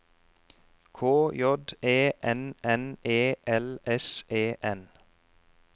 K J E N N E L S E N